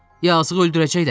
Yazıq öldürəcəklər!